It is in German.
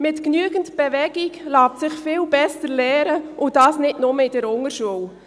Mit genügend Bewegung lässt sich viel besser lernen, und dies nicht nur in der Unterschule.